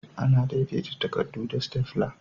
Ana daidaita takarɗu da "Stapler".